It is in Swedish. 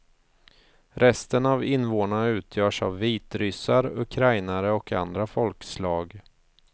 Resten av invånarna utgörs av vitryssar, ukrainare och andra folkslag.